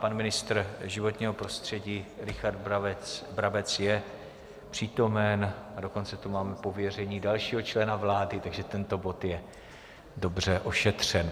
Pan ministr životního prostředí Richard Brabec je přítomen, a dokonce tu mám pověření dalšího člena vlády, takže tento bod je dobře ošetřen.